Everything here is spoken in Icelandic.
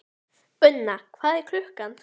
Unna, hvað er klukkan?